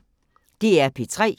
DR P3